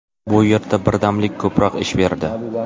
Bu yerda birdamlik ko‘proq ish berdi.